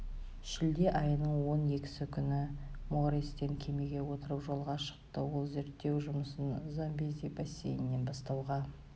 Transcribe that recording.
шілде айының он екісі күні морестен кемеге отырып жолға шықты ол зерттеу жұмысын замбези бассейнінен бастауға